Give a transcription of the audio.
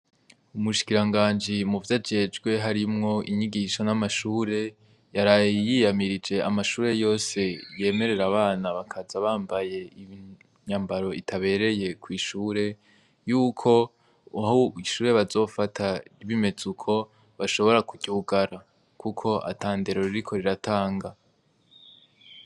Umushikiranganji mu vyo ajejwe harimwo inyigisho n'amashure, yarayiyamirije amashure yose yemerera abana bakaza bambaye imyambaro itabereye kw'ishure yuko uhuwishure bazofata bimeze uko bashobora kutyugara, kuko atandera ro riko riratanga.